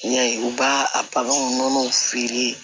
N'i y'a ye u b'a a baganw nɔnɔw feere